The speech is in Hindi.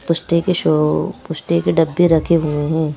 पुष्टे के शो पुष्टी के डब्बे रखी हुए हैं।